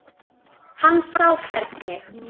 Hann sá hvernig